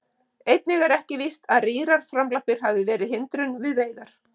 Einnig er ekki víst að rýrar framlappir hafi verið hindrun við veiðar.